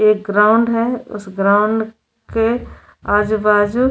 एक ग्राउंड है उस ग्राउंड के आजूबाजू --